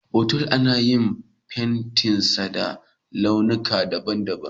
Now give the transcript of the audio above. Otal ana iya fentinsa da launuka daban-daban.